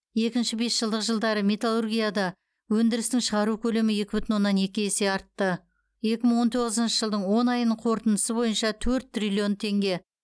екінші бесжылдық жылдары металлургияда өндірістің шығару көлемі екі бүтін оннан екі есе артты екі мың он тоғызыншы жылдың он айының қорытындысы бойынша төрт триллион теңге